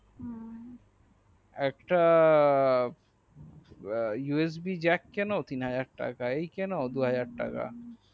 একটা USB jack কেন তিন হাজার টাকায় কেন দুহাজার টাকা